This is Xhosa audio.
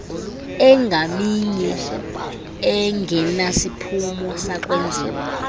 engaminye engenasiphumo sakwenziwa